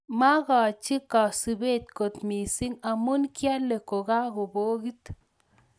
Makachiii kasupeet kot misiing amuu kialeen kakopokit